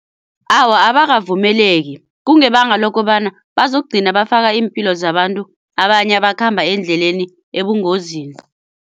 Awa abakavumeleki kungebanga lokobana bazokugcina bafaka iimpilo zabantu abanye abakhamba endleleni ebungozini.